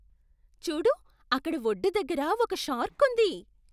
చూడు! అక్కడ ఒడ్డు దగ్గర ఒక షార్క్ ఉంది.